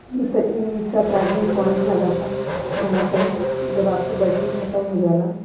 इ त e- rickshaw charging point लगत आ इहाँ पर जब आपके बैटरी खतम हो जाला --